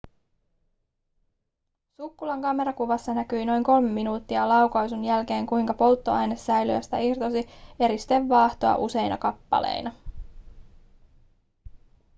sukkulan kamerakuvassa näkyi noin kolme minuuttia laukaisun jälkeen kuinka polttoainesäiliöstä irtosi eristevaahtoa useina kappaleina